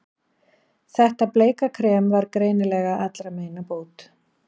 Þetta bleika krem var greinilega allra meina bót.